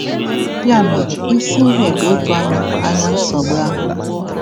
Ya mere, isi ihe bụ ịtụ anya anya nsogbu ahụ.